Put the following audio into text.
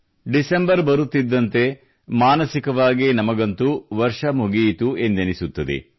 December ಬರುತ್ತಿದ್ದಂತೆ ಮಾನಸಿಕವಾಗಿ ನಮಗೆ ಅಂತೂ ವರ್ಷ ಮುಗಿಯಿತು ಎಂದೆನ್ನಿಸುತ್ತದೆ